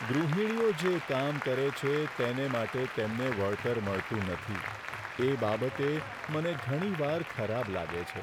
ગૃહિણીઓ જે કામ કરે છે, તેને માટે તેમને વળતર મળતું નથી, એ બાબતે મને ઘણીવાર ખરાબ લાગે છે.